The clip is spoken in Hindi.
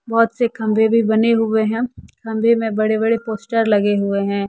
बहुत से कमरे भी बने हुए हैं कमरे में बड़े बड़े पोस्टर लगे हुए हैं।